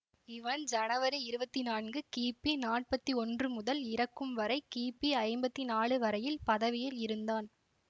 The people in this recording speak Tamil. இவன் ஜனவரி இருவத்தி நான்கு கிபி நாப்பத்தி ஒன்று முதல் இறக்கும் வரை கிபி ஐம்பத்தி நாலு வரையில் பதவியில் இருந்தான்